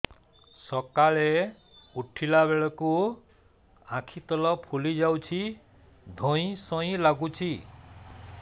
ସକାଳେ ଉଠିଲା ବେଳକୁ ଆଖି ତଳ ଫୁଲି ଯାଉଛି ଧଇଁ ସଇଁ ଲାଗୁଚି